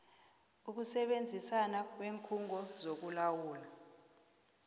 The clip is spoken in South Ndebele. ukusebenzisana kweenkhungo zokulawulwa